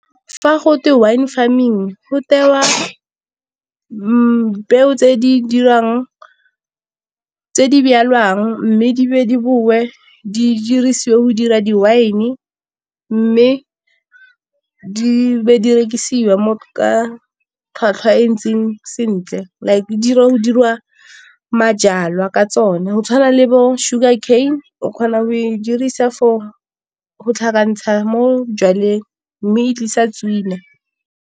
Fa go twe wine farming go tewa peo tse di dirang, tse di mme di be di boe di dirisiwe go dira di-wine, mme di be di rekisiwa mo ka tlhwatlhwa e e ntseng sentle. Like di ya go dirwa majalwa ka tsone go tshwana le bo sugar cane, o kgona go di dirisa for go tlhakantsha mo jwaleng mme e tlisa tswina.